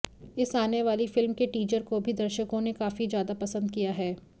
इस आने वाली फिल्म के टीजर को भी दर्शकों ने काफी ज्यादा पसंद किया है